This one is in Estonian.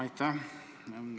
Aitäh!